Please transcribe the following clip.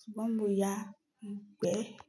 Ṣùgbọ́n mo ya ìgbẹ́.